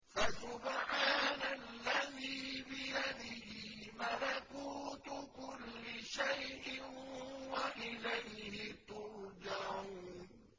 فَسُبْحَانَ الَّذِي بِيَدِهِ مَلَكُوتُ كُلِّ شَيْءٍ وَإِلَيْهِ تُرْجَعُونَ